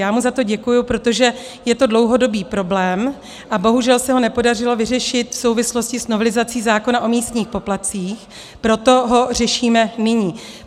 Já mu za to děkuji, protože je to dlouhodobý problém a bohužel se ho nepodařilo vyřešit v souvislosti s novelizací zákona o místních poplatcích, proto ho řešíme nyní.